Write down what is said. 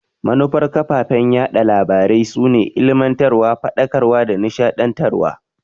Manufar kafafen yaɗa labarai su ne ilimantarwa, Faɗakarwa da nishadantarwa.